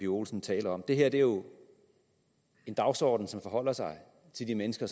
olsen taler om det her er jo en dagsorden som forholder sig til de mennesker